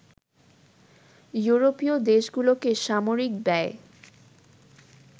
ইউরোপীয় দেশগুলোকে সামরিক ব্যায়